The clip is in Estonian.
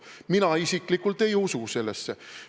Mina isiklikult ei usu sellesse.